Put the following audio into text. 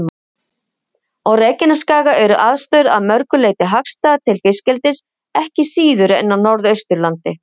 Á Reykjanesskaga eru aðstæður að mörgu leyti hagstæðar til fiskeldis ekki síður en á Norðausturlandi.